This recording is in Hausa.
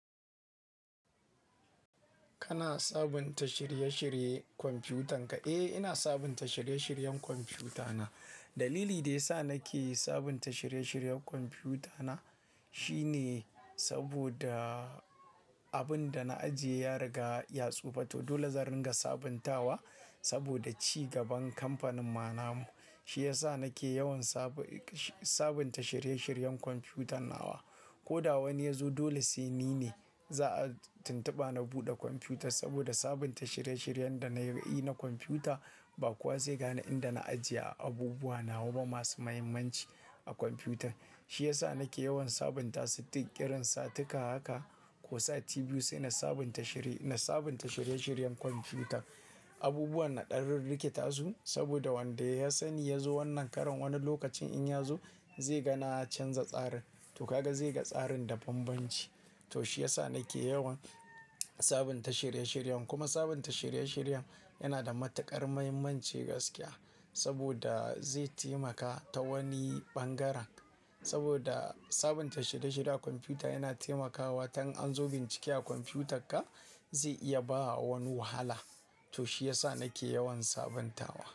Kana sabunta shirye-shiryen kwamfutan ka? Eh, ina sabunta shirye-shiryen kwamfutana. Dalili da ya sa nake sabunta shirye-shiryen kwamfutana shine saboda abin da na ajiye ya riga ya tsufa to. Dole zan ringa sabuntawa saboda ci gaban kamfanin ma namun. Shi ya sa nake yawan sabunta shirye-shiryen kwamfutana. Ko da wani ya zo dole sai ni ne za a tuntuba na buɗe kwamfutar saboda sabunta shirye-shiryen da na yi na kwamfuta, ba kuwa zai gane inda na ajiye abubuwa nawa ba masu mahimmanci a kwamfuta. Shi ya sa nake yawan sabunta, sittin, ƙiran, satika haka ko sati biyu sai na sabunta shirye-shiryen kwamfuta. Abubuwan na ɗan rirrikita su saboda wanda ya sani ya zo wannan ƙaran wani lokacin in ya zo zai ga na canza tsarin. To, kaga zai ga tsarin da banbanci. To, shi ya sa nake yawan sabunta shirye-shiryen. Kuma sabunta shirye-shiryen yana da matuƙar muhimmanci gaskiya saboda zai taimaka ta wani ɓangaren. Saboda sabunta shirye-shirye a kwamfuta yana taimakawa. Ta in an zo bincike a kwamfutarka zai iya ba wa wani wahala. To, shi yasa nake yawan sabuntawa.